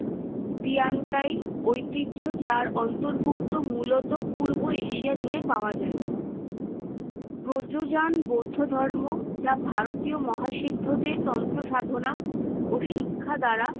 Tiantai ঐতিহ্য। যার অন্তর্ভুক্ত মূলত পূর্ব এশিয়া জুড়ে পাওয়া যায়। ব্রজযান বৌদ্ধ ধর্ম যা ভারতীয় মহাসিদ্ধদের তন্ত্র সাধনা ও শিক্ষা দ্বারা